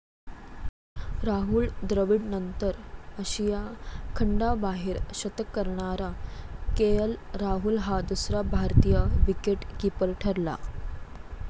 राहुल द्रविडनंतर आशिया खंडाबाहेर शतक करणारा केएल राहुल हा दुसरा भारतीय विकेट कीपर ठरला.